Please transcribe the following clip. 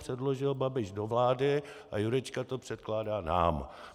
Předložil Babiš do vlády a Jurečka to předkládá nám.